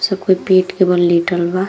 सब कोई पिट के बल लेटल बा।